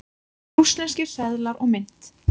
Rússneskir seðlar og mynt.